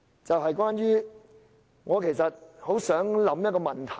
此外，我其實很想問一個問題。